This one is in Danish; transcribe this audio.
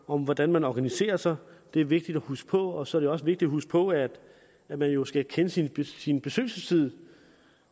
om hvordan man organiserer sig det er vigtigt at huske på og så er det også vigtigt at huske på at man jo skal kende sin sin besøgelsestid